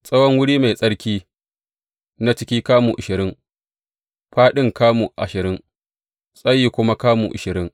Tsawon wuri mai tsarki na ciki kamu ashirin, fāɗin kamu ashirin, tsayin kuma kamu ashirin.